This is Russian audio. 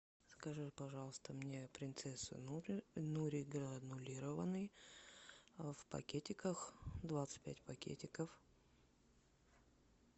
закажи пожалуйста мне принцесса нури нури гранулированный в пакетиках двадцать пять пакетиков